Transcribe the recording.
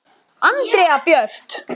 Andrea Björt.